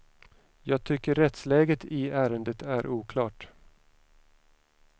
Jag tycker rättsläget i ärendet är oklart.